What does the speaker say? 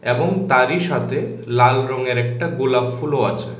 এবং তারই সাথে লাল রঙের একটা গোলাপ ফুলও আছে।